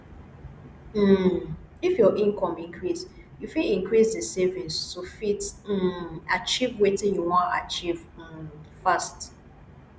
um if your income increase you fit increase di savings to fit um achieve wetin you wan achieve um fast